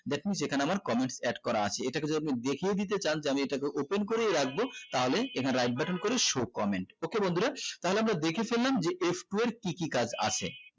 that means এখানে আমার comment add করা আছে এটাকে যদি আমি দেখিয়ে দিতে চান যে এটাকে open করেই রাখবো তালেই write button করে show comment okay বন্ধুরা তাহলে আমরা দেখে ফেললাম যে f two এর কি কি কাজ আছে